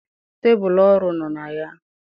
Tebụl ọrụ nọ na ya.